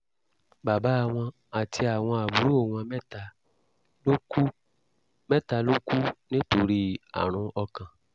bàbá wọn àti àwọn àbúrò wọn mẹ́ta ló kú mẹ́ta ló kú nítorí àrùn ọkàn